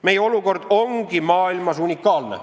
Meie olukord ongi maailmas unikaalne.